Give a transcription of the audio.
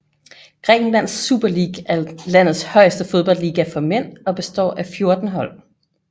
Grækenlands Super League er landets højeste fodboldliga for mænd og består af fjorten hold